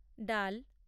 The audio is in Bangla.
ডাল